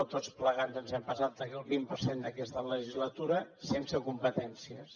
o tots plegats ens hem passat el vint per cent d’aquesta legislatura sense competències